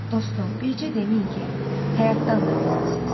Dostum, bircə deməyin ki, həyatdan da bezmisiz.